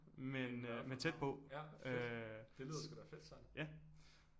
Været på en havn ja fedt det lyder sgu da fedt Søren